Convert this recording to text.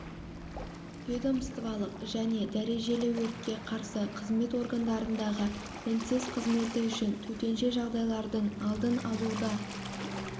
ведомстволық және дәрежелі өртке қарсы қызмет органдарындағы мінсіз қызметі үшін төтенше жағдайлардың алдын алу да